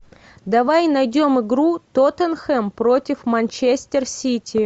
давай найдем игру тоттенхэм против манчестер сити